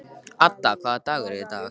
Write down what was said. Ada, hvaða dagur er í dag?